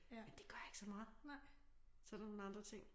Men det gør ikke så meget så der nogle andre ting